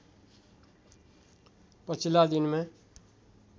पछिल्ला दिनमा